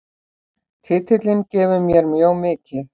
Titillinn gefur mér mjög mikið